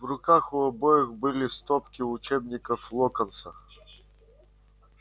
в руках у обоих были стопки учебников локонса